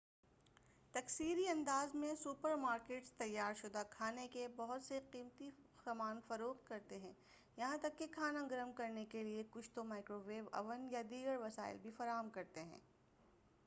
تکثیری انداز میں supermarkets تیار شدہ کھانے کے بہت سی قسمیں فروخت کرتے ہیں یہاں تک کہ کھانا گرم کرنے کیلئے کچھ تو مائکرو ویو اوین یا دیگر وسائل بھی فراہم کرتے ہیں